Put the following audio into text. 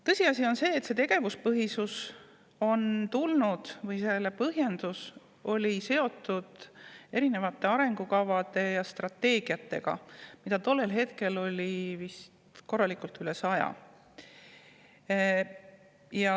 Tõsiasi on see, et tegevuspõhisuse põhjendus oli seotud arengukavade ja strateegiatega, mida tollel hetkel oli vist üle saja.